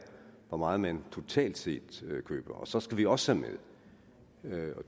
hvor meget man totalt set køber så skal vi også have med